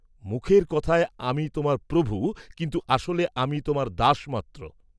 মুখের কথায় আমি তোমার প্রভু, কিন্তু আসলে আমি তোমার দাস মাত্র।